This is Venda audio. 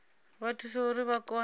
vha thusa uri vha kone